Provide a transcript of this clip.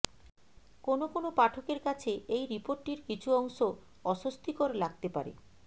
কোন কোন পাঠকের কাছে এই রিপোর্টটির কিছু অংশ অস্বস্তিকর লাগতে পারে